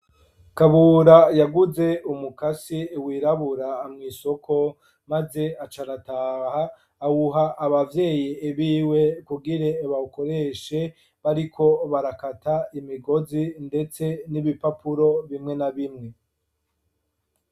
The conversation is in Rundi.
Kabura yaguze umukasi wirabura mw'isoko, maze acarataha, awuha abavyeyi ibiwe kugire bawukoreshe bariko barakata imigozi ndetse n'ibipapuro bimwe na bimwe.